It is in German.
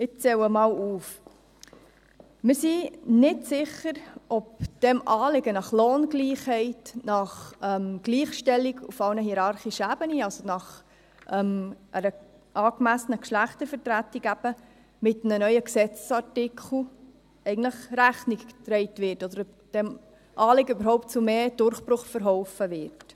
Ich zähle auf: Wir sind nicht sicher, ob diesem Anliegen nach Lohngleichheit, nach Gleichstellung auf allen hierarchischen Ebenen, also nach einer angemessenen Geschlechtervertretung, mit einem neuen Gesetzesartikel Rechnung getragen oder ob diesem Anliegen überhaupt zu mehr Durchbruch verholfen wird.